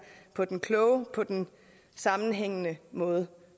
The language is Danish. på den kloge og på den sammenhængende måde